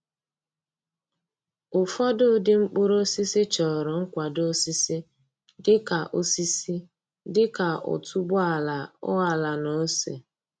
Ụfọdụ ụdị mkpụrụ osisi chọrọ nkwado osisi dị ka osisi dị ka otuboala oala na ose.